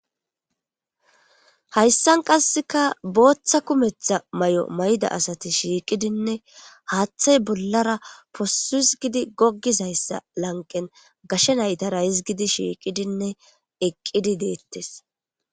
hayssan qasseka booththa kumetha may7o mayda asati shiiqidinne haaththay bollara posu hisgidi goggizayssa lanqen gashe naytara hizgidi shiiqidinne eqqidi deettes